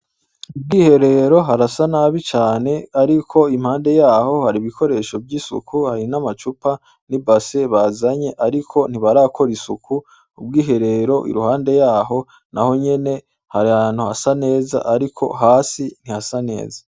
Ubwiherero harasa nabi cane ariko impande yaho hari ibikoresho vy'isuku, hari n'amacupa n'ibase nazanye ariko ntibarakora isuku, ubwiherero iruhande yo aho naho nyene hari ahantu hasa neza ariko hasi ntihasa neza.